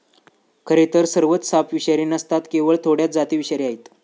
खरेतर सर्वच साप विषारी नसतात केवळ थोड्याच जाती विषारी आहेत.